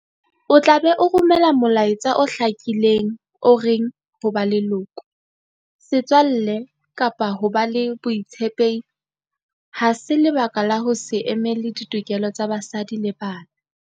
O tla be o romela molaetsa o hlakileng o reng ho ba leloko, setswalle kapa ho ba le botshepehi ha se lebaka la ho se emele ditokelo tsa basadi le bana.